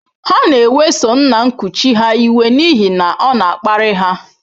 Ha na-eweso nna nkuchi ha iwe n’ihi na ọ na-akparị ha.